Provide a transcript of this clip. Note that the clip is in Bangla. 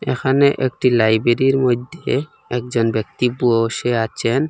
এখানে একটি লাইব্রেরির মধ্যে একজন ব্যক্তি বসে আছেন।